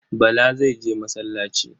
Bala zai je masallaci.